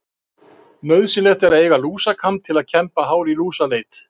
Nauðsynlegt er að eiga lúsakamb til að kemba hár í lúsaleit.